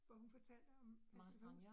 Hvor hun fortalte om altså